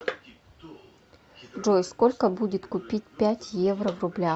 джой сколько будет купить пять евро в рублях